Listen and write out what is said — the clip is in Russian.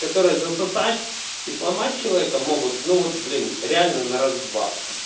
которые засосать и сломать человека могут ну вот блин реально на раз-два